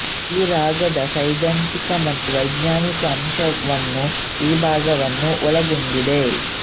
ಈ ರಾಗದ ಸೈದ್ಧಾಂತಿಕ ಮತ್ತು ವೈಜ್ಞಾನಿಕ ಅಂಶವನ್ನು ಈ ವಿಭಾಗವು ಒಳಗೊಂಡಿದೆ